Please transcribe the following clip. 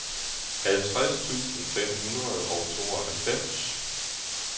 halvtreds tusind fem hundrede og tooghalvfems